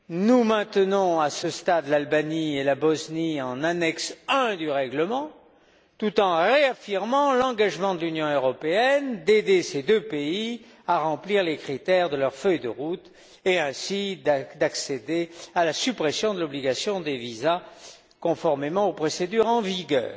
Nous maintenons à ce stade l'Albanie et la Bosnie en annexe I du règlement, tout en réaffirmant l'engagement de l'Union européenne d'aider ces deux pays à remplir les critères de leur feuille de route, et ainsi d'accéder à la suppression de l'obligation des visas conformément aux procédures en vigueur.